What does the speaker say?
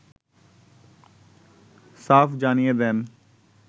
সাফ জানিয়ে দেন